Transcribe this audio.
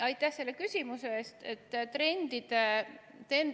Aitäh selle küsimuse eest!